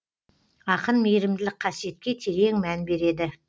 ақын мейірімділік қасиетке терең мән береді